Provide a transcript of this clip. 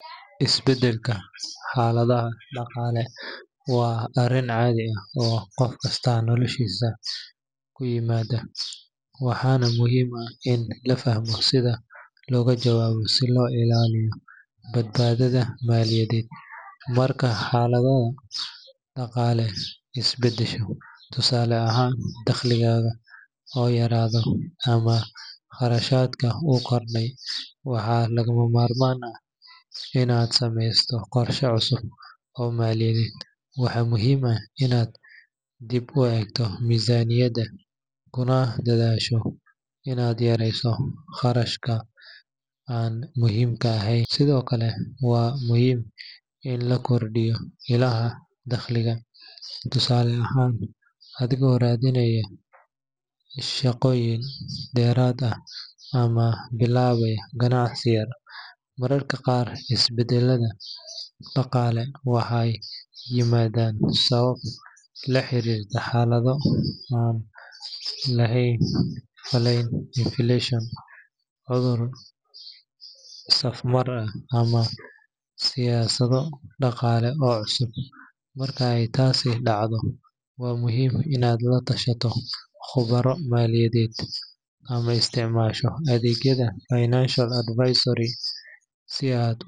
Isbedelka xaaladaha dhaqaale waa arrin caadi ah oo qof kasta noloshiisa ku yimaada, waxaana muhiim ah in la fahmo sida looga jawaabo si loo ilaaliyo badbaadada maaliyadeed. Marka xaaladdaada dhaqaale isbedesho, tusaale ahaan dakhligaaga oo yaraada ama kharashaadka oo kordha, waxaa lagama maarmaan ah inaad sameyso qorshe cusub oo maaliyadeed. Waxa muhiim ah inaad dib u eegto miisaaniyaddaada, kuna dadaasho inaad yareyso kharashaadka aan muhiimka ahayn. Sidoo kale, waa muhiim in la kordhiyo ilaha dakhliga, tusaale ahaan adigoo raadinaya shaqooyin dheeraad ah ama bilaabaya ganacsi yar. Mararka qaar isbedelada dhaqaale waxay yimaadaan sabab la xiriirta xaalado aan la filayn sida inflation, cudur safmar, ama siyaasado dhaqaale oo cusub. Marka ay taasi dhacdo, waa muhiim inaad la tashato khubaro maaliyadeed ama isticmaasho adeegyada financial advisory si aad.